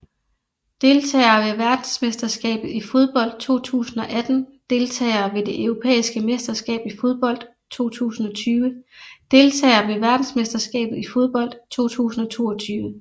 Deltagere ved verdensmesterskabet i fodbold 2018 Deltagere ved det europæiske mesterskab i fodbold 2020 Deltagere ved verdensmesterskabet i fodbold 2022